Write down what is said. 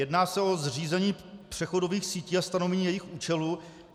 Jedná se o zřízení přechodových sítí a stanovení jejich účelu.